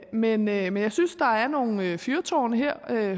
men men jeg synes der er nogle fyrtårne her